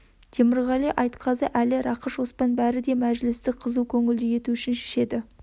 темірғали айтқазы әлі рақыш оспан бәрі де мәжілісті қызу көңілді ету үшін ішеді